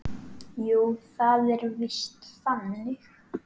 Jú, það var víst þannig.